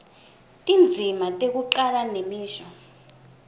tindzima tekucala nemisho